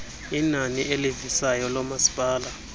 inani elivisayo loomasipala